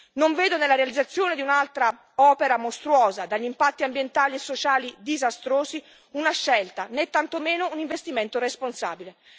Non vedo nella realizzazione di un'altra opera mostruosa, dagli impatti ambientali e sociali disastrosi, una scelta né tantomeno un investimento responsabile.